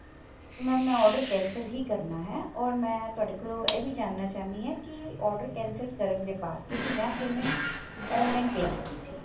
mam ਮੈਂ order cancel ਹੀ ਕਰਨਾ ਹੈ or ਮੈਂ ਤੁਹਾਡੇ ਕੋਲ ਇਹ ਵੀ ਜਾਨਣਾ ਚਾਹੁੰਦੀ ਹਾਂ ਕੀ order cancel ਕਰਨ ਦੇ ਬਾਅਦ ਕਿਉਂਕਿ ਮੈਂ payment online pay ਕੀਤੀ ਸੀ